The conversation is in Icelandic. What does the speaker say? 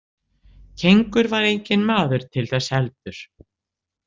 Kengur var enginn maður til þess heldur.